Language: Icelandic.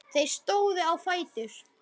Þeir stóðu á fætur.